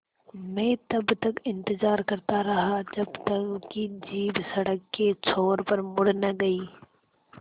मैं तब तक इंतज़ार करता रहा जब तक कि जीप सड़क के छोर पर मुड़ न गई